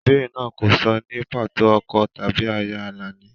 Ìbéèrè náà kò sọ ní pàtó ọkọ tàbí aya Alani.